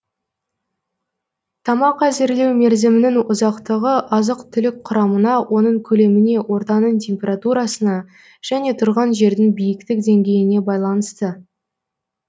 тамақ әзірлеу мерзімінің ұзақтығы азық түлік құрамына оның көлеміне ортаның температурасына және тұрған жердің биіктік деңгейіне байланысты